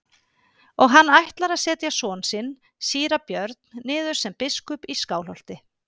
Og hann ætlar að setja son sinn síra Björn niður sem biskup í Skálholti.